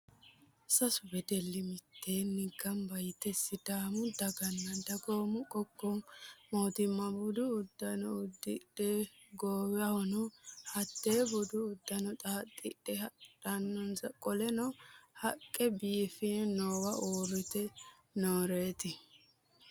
Sasu wedelli mitteenni gamba yite sidaamu daganna dagoomi qoqqowi mannita budu uddano uddidhe, goowahono hattee budu uddano xaaxidhe badhensaani qole haqqe biofe noowa uurrite nooreeti.